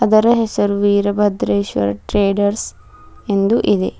ಅದರ ಹೆಸರು ವೀರಭದ್ರೇಶ್ವರ ಟ್ರೇಡರ್ಸ್ ಎಂದು ಇದೆ.